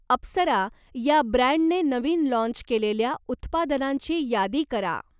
अप्सरा या ब्रँडने नवीन लाँच केलेल्या उत्पादनांची यादी करा?